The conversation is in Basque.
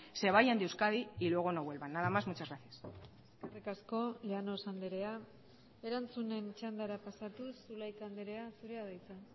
se vayan de euskadi y luego no vuelvan nada más muchas gracias eskerrik asko llanos andrea erantzunen txandara pasatuz zulaika andrea zurea da hitza